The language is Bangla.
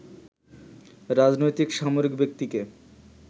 রাজনৈতিক, সামরিক ব্যক্তিকে